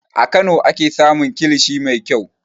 A Kano ake samun kilishi mai kyau.